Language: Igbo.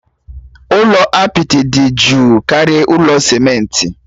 Ụlọ apịtị dị jụụ karịa ụlọ simenti.